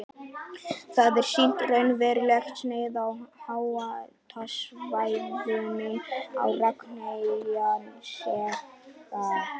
Þar er sýnt raunverulegt snið af háhitasvæðunum á Reykjanesskaga.